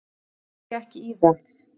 Þá býð ég ekki í það.